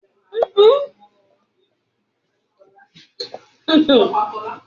Aṣọ olóòpa tí Gbénga, jé kí ó yàtọ laarin opo ènìyàn